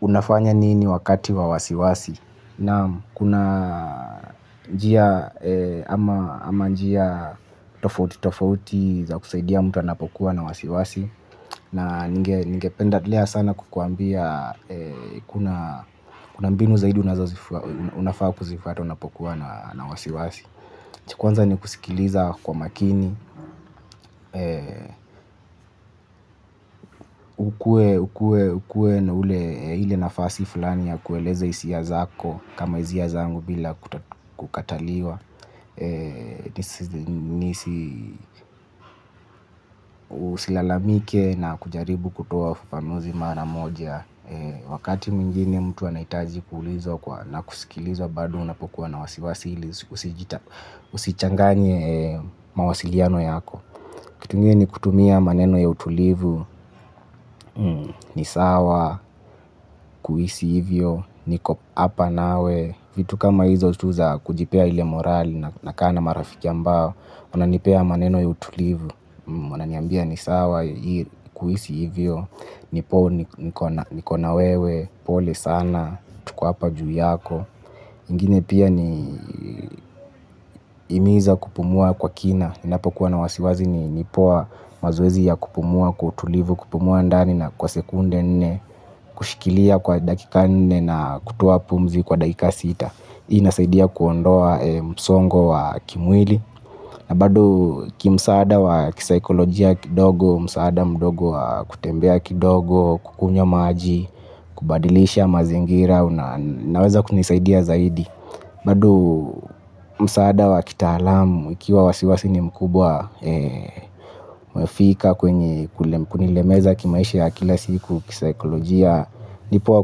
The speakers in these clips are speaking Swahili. Unafanya nini wakati wa wasiwasi naam, kuna njia ama njia tofauti tofauti za kusaidia mtu anapokuwa na wasiwasi. Na ninge pendea sana kukuambia kuna mbinu zaidi unafaa kuzifuata unapokuwa na wasiwasi cha kwanza ni kusikiliza kwa makini, ukue na ule hile nafasi fulani ya kueleza hisia zako kama hisia zangu bila kukataliwa usilalamike na kujaribu kutoa ufafanuzi mara moja. Wakati mwingine mtu anahitaji kulizwa na kusikilizwa bado unapokuwa na wasiwasi ili usichanganye mawasiliano yako kitu ingine ni kutumia maneno ya utulivu, ni sawa kuhisi hivyo, niko hapa nawe, vitu kama hizo tu za kujipea ile morale nakaa na marafiki ambao wananipea maneno ya utulivu, wananiambia ni sawa kuhisi hivyo, niko na niko na wewe, pole sana, tuko hapa juu yako. Ingine pia ni himiza kupumua kwa kina ninapokuwa na wasiwasi ni poa mazoezi ya kupumua kwa utulivu kupumua ndani na kwa sekunde nne. Kushikilia kwa dakika nne na kutoa pumzi kwa dakika sita hii inasaidia kuondoa msongo wa kimwili. Na bado kimsaada wa kisaikolojia kidogo msaada mdogo wa kutembea kidogo kukunywa maji. Kubadilisha mazingira inaweza kunisaidia zaidi. Bado msaada wa kitaalamu ikiwa wasiwasi ni mkubwa umefika kwenye kunilemeza kimaisha ya kila siku kisaikolojia. Ni poa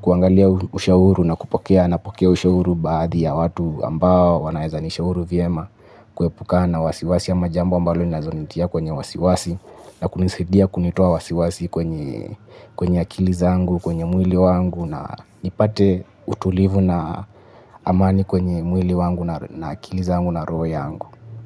kuangalia ushauri na kupokea napokea ushauri baadhi ya watu ambao wanaweza nishauri vyema. Kuepukana na wasiwasi ama jambo ambalo linaweza nitia kwenye wasiwasi. Na kunisaidia kunitoa wasiwasi kwenye kwenye akili zangu kwenye mwili wangu na nipate utulivu na amani kwenye mwili wangu na akili zangu na roho yangu.